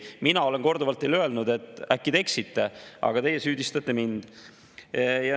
Mina olen korduvalt teile öelnud, et äkki te eksite, aga teie süüdistate mind.